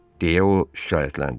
Deyə o şikayətləndi.